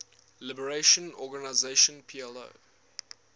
liberation organization plo